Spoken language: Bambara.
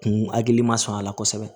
Kun hakili ma sɔn a la kosɛbɛ